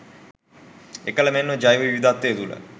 එකල මෙම ජෛව විවිධත්වය තුළ